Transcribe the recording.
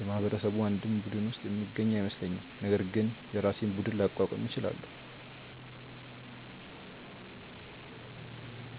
የማህበረሰቡ አንድም ቡድን ውስጥ የምገኝ አይመስለኝም፤ ነገር ግን የራሴን ቡድን ላቋቁም እችላለው።